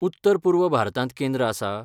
उत्तर पूर्व भारतांत केंद्र आसा?